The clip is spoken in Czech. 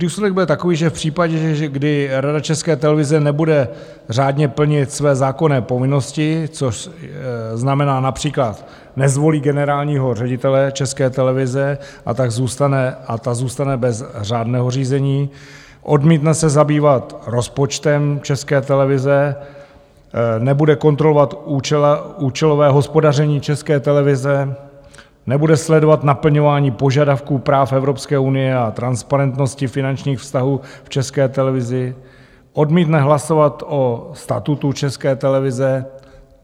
Důsledek bude takový, že v případě, kdy Rada České televize nebude řádně plnit své zákonné povinnosti, což znamená například nezvolí generálního ředitele České televize a ta zůstane bez řádného řízení, odmítne se zabývat rozpočtem České televize, nebude kontrolovat účelové hospodaření České televize, nebude sledovat naplňování požadavků práv Evropské unie o transparentnosti finančních vztahů v České televizi, odmítne hlasovat o statutu České televize.